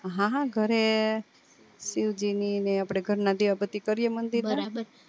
હા હા ઘરે શિવ જી ને આપડે ઘરે દીવા બત્તી કરીએ મંદિર માં